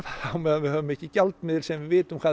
meðan við höfum ekki gjaldmiðil sem við vitum hvað